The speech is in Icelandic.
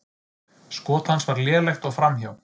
Skot hans var lélegt og framhjá.